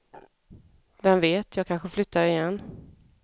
Vem vet, jag kanske flyttar igen.